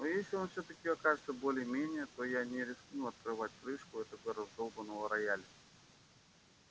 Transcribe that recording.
но если он всё-таки окажется более-менее то я не рискну открывать крышку этого раздолбанного рояля